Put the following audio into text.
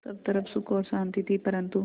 सब तरफ़ सुख और शांति थी परन्तु